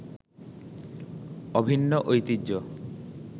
অভিন্ন ঐতিহ্য